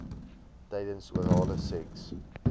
tydens orale seks